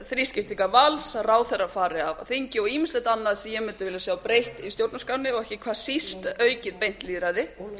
þrískiptingar valds að ráðherrar fari af þingi og ýmislegt annað sem ég mundi vilja sjá breytt í stjórnarskránni og ekki hvað síst aukið beint lýðræði